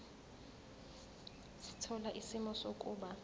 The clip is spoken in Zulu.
sithola isimo sokuba